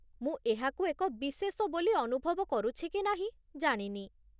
ମୁଁ ଏହାକୁ ଏକ ବିଶେଷ ବୋଲି ଅନୁଭବ କରୁଛି କି ନାହିଁ, ଜାଣିନି